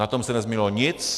Na tom se nezměnilo nic.